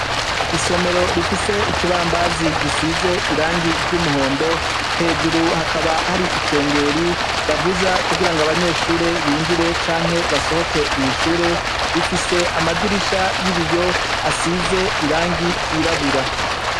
Isomero rifise Ikibambazi gisize irangi ry'umuhondo, hejuru hakaba hari ikengeri bavuza kugura Abanyeshure binjire canke basohoke mw'ishure, rifise amadiri biyo asize Irangi ryirabura.